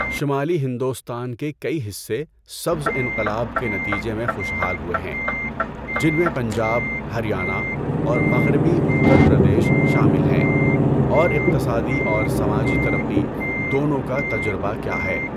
شمالی ہندوستان کے کئی حصے سبز انقلاب کے نتیجے میں خوشحال ہوئے ہیں، جن میں پنجاب، ہریانہ اور مغربی اتر پردیش شامل ہیں، اور اقتصادی اور سماجی ترقی دونوں کا تجربہ کیا ہے۔